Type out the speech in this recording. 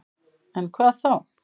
En hvað þá?